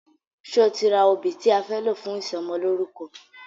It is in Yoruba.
Ṣe o ti ra obì tí a fẹ́ lò fún ìsọmọlórúkọ?